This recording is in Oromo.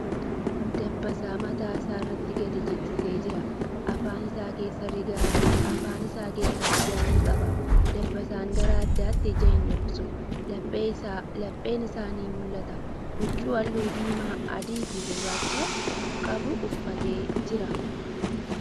Dabbasaa mataa isaatirra gadi jigsee jira. Afaan isaa keessaa rigaa ni qaba. Dabbasaan gara addaatin ija hin dhoksu. Lapheen isaa nu mul'ata. Huccuu haalluu diimaa, adii fii gurracha qabu uffatee jira.